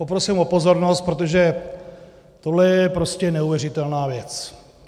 Poprosím o pozornost, protože tohle je prostě neuvěřitelná věc.